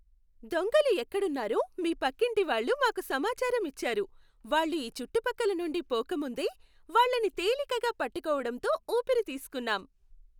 దొంగలు ఎక్కడున్నారో మీ పక్కింటి వాళ్ళు మాకు సమాచారం ఇచ్చారు, వాళ్ళు ఈ చుట్టుపక్కల నుండి పోక ముందే, వాళ్ళని తేలికగా పట్టుకోవడంతో ఊపిరి తీస్కున్నాం.